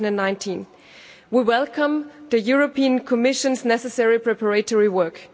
2019. We welcome the European Commission's necessary preparatory work.